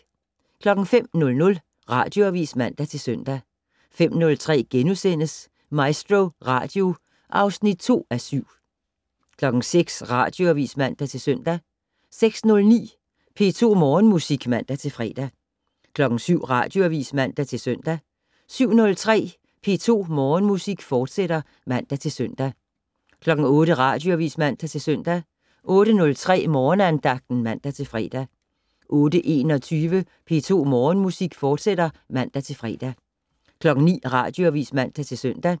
05:00: Radioavis (man-søn) 05:03: MaestroRadio (2:7)* 06:00: Radioavis (man-søn) 06:09: P2 Morgenmusik (man-fre) 07:00: Radioavis (man-søn) 07:03: P2 Morgenmusik, fortsat (man-søn) 08:00: Radioavis (man-søn) 08:03: Morgenandagten (man-fre) 08:21: P2 Morgenmusik, fortsat (man-fre) 09:00: Radioavis (man-søn)